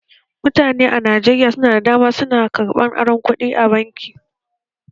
Mutane da dama a Najeriya su na karɓan aron kuɗi a bankuna